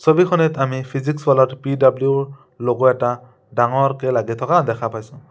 ছবিখনত আৰু ফিজিক্স ৱালাৰ পি_ডাব্লিও ৰ ল'গ' এটা ডাঙৰকে লাগি থকা দেখা পাইছোঁ।